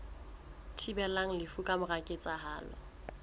thibelang lefu ka mora ketsahalo